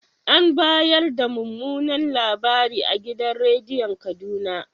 An ba yarda mumunan labari a gidan rediyon Kaduna.